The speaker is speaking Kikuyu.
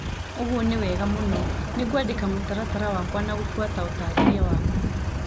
ũguo nĩ wega mũno. Nĩngwandĩka mũtaratara wakwa na gũbuata ũtarĩria waku.